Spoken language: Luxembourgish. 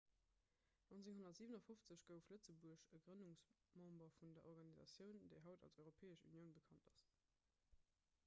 1957 gouf lëtzebuerg e grënnungsmember vun der organisatioun déi haut als europäesch unioun bekannt ass